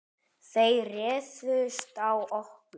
Þeir réðust á okkur.